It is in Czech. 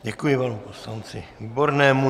Děkuji panu poslanci Výbornému.